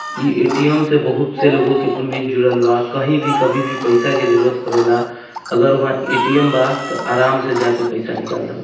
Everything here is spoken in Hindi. इ ए_टी_एम से बहुत से लोगों की उम्मीद जुड़ल बा कहीं भी कभी भी पैसा की जरुरत पड़ेला| अगर वहां ए_टी_एम बा तो आराम से जाके पैसा निकाल सकत |